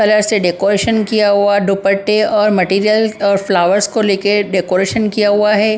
Colour से decoration किया हुआ दुपट्टे और मटेरियल और फ्लावर्स को लेके डेकोरेशन किया हुआ है ।